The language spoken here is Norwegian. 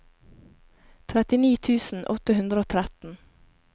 trettini tusen åtte hundre og tretten